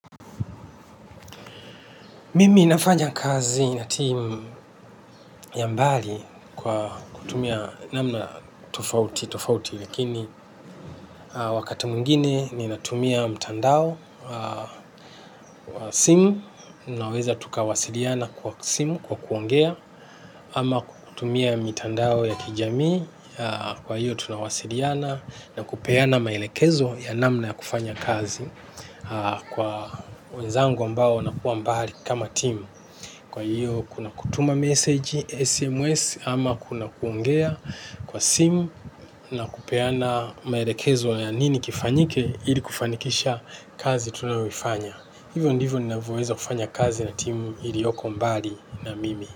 Mimi nafanya kazi na timu ya mbali kwa kutumia namna tofauti, tofauti lakini wakati mwingine ninatumia mtandao, timu, naweza tukawasiliana kwa simu, kwa kuongea, ama kutumia mitandao ya kijamii, kwa hiyo tunawasiliana na kupeana maelekezo ya namna ya kufanya kazi kwa wenzangu ambao wanakuwa mbali kama timu. Kwa hivyo kuna kutuma message, SMS ama kuna kuongea kwa simu na kupeana maelekezo ya nini kifanyike ili kufanikisha kazi tunaoifanya. Hivyo ndivyo ninavyoweza kufanya kazi na timu ilioko mbali na mimi.